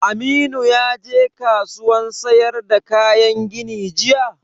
Aminu ya je kasuwan sayar da kayan gini jiya?